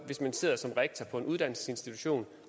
hvis man sidder som rektor på en uddannelsesinstitution